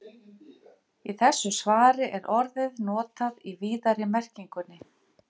Í þessu svari er orðið notað í víðari merkingunni.